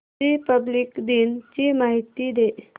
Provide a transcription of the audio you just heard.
Republic दिन ची माहिती दे